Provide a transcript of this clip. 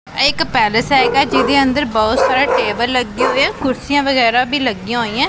ਇਹ ਇਕ ਪੈਲਸ ਹੈਗਾ ਜਿਦੇ ਅੰਦਰ ਬਹੁਤ ਸਾਰਾ ਟੇਬਲ ਲੱਗੇ ਹੋਏ ਆ ਕੁਰਸੀਆਂ ਵਗੈਰਾ ਵੀ ਲੱਗੀਆਂ ਹੋਈਐਂ।